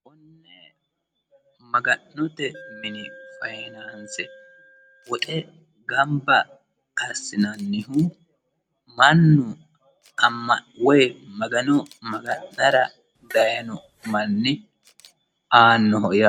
Magga'note mini faayinanise woxe gamibba asinanihu mannu amano woyi magano magan'nara daayino manni aanoho yaate